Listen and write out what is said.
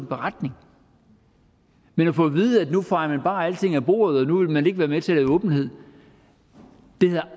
beretning men at få at vide at nu fejer man bare alting af bordet og nu vil man ikke være med til at lave åbenhed det havde